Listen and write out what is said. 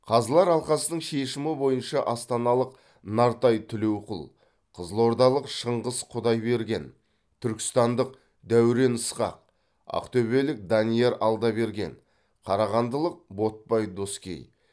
қазылар алқасының шешімі бойынша астаналық нартай тілеуқұл қызылордалық шыңғыс құдайберген түркістандық дәурен ысқақ ақтөбелік данияр алдаберген қарағандылық ботпай доскей